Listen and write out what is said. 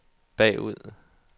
bagud